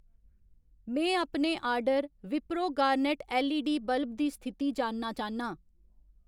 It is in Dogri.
में अपने order Wipro garnet LED bulb दी स्थिति जानना चाह्न्नां